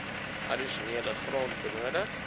addisionele grond benodig